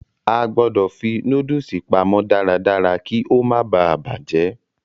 A gbọ̀dọ̀ fi nóódùsì pamọ́ darádará kí ó má baà bàjẹ́